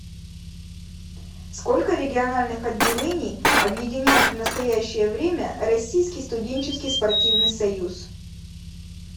сколько региональных отделений объединяет в настоящее время российский студенческий спортивный союз